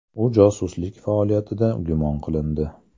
U josuslik faoliyatida gumon qilindi.